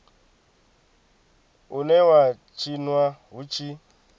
une wa tshinwa hu tshi